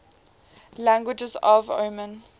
languages of oman